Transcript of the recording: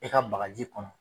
E ka bagaji kɔnɔ.